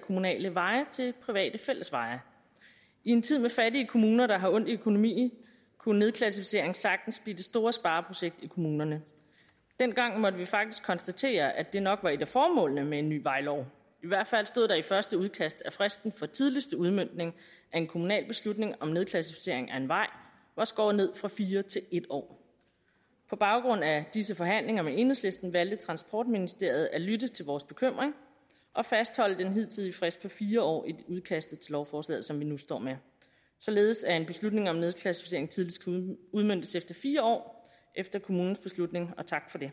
kommunale veje til private fællesveje i en tid med fattige kommuner der har ondt i økonomien kunne nedklassificering sagtens blive det store spareprojekt i kommunerne dengang måtte vi faktisk konstatere at det nok var et af formålene med en ny vejlov i hvert fald stod der i første udkast at fristen for tidligste udmøntning af en kommunal beslutning om nedklassificering af en vej var skåret ned fra fire til en år på baggrund af disse forhandlinger med enhedslisten valgte transportministeriet at lytte til vores bekymring og fastholde den hidtidige frist på fire år i udkastet til lovforslaget som vi nu står med således at en beslutning om nedklassificering tidligst kan udmøntes fire år efter kommunens beslutning og tak for det